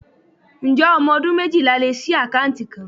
Ǹjẹ́ ọmọ ọdún méjìlá lè ṣii akanti kan?